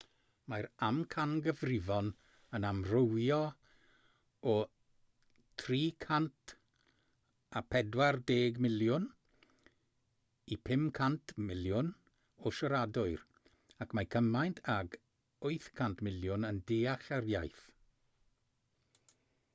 mae'r amcangyfrifon yn amrywio o 340 miliwn i 500 miliwn o siaradwyr ac mae cymaint ag 800 miliwn yn deall yr iaith